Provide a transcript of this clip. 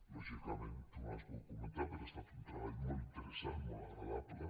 lògicament tu no ho has volgut comentar però ha estat un treball molt interessant molt agradable